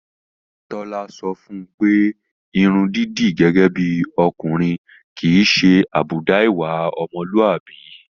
Tálọ́ sọ fún un pé irun dídì gẹ́gẹ́ bí ọkùnrin kì í ṣe àbùdá ìwà ọmọlúàbí.